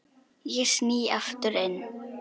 Ég sný aftur inn.